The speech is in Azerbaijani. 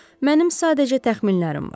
Mənim sadəcə təxminlərim var.